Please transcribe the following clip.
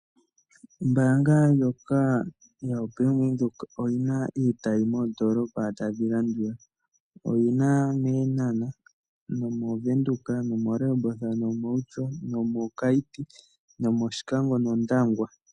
Ombaanga yaVenduka oyina iitayi moondoolopa tadhi landula; Eenhana, Widhoek, Rehoboth, Outjo, Keetmanshop, Oshikango ,Ondangwa .